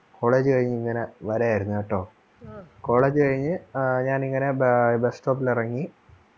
college കഴിഞ്ഞു ഇങ്ങനെ വരുവായിരുനട്ടോ college കഴിഞ്ഞു ഞാൻ ഇങ്ങനെ ബ bus സ്റ്റോപ്പിൽ ഇറങ്ങി